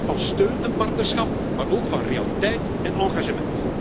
Een boodschap van steun en partnerschap, maar ook van realiteit en engagement.